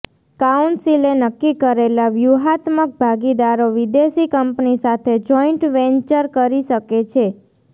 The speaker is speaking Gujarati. કાઉન્સિલે નક્કી કરેલા વ્યૂહાત્મક ભાગીદારો વિદેશી કંપની સાથે જોઈન્ટ વેન્ચર કરી શકે છે